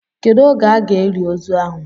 Kedụ oge a ga-eli ozu ahụ?